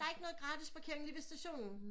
Det er ikke noget gratis parkering lige ved stationen